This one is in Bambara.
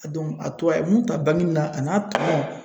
a tora a ye mun ta banki mun na a n'a tɔnɔ.